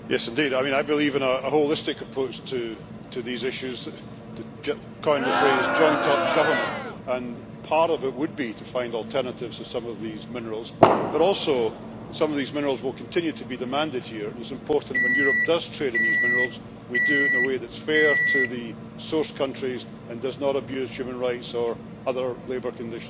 I believe in a holistic approach to these issues to coin a phrase, joined up government' and part of it would be to find alternatives to some of these minerals, but also some of these minerals will continue to be demanded here and it is important, when Europe does trade in these minerals, that we do it in a way that is fair to the source countries and does not abuse human rights or other labour conditions.